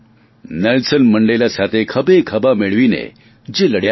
Nelson Mandela સાથે ખભેખભા મેળવીને જે લડ્યા હતા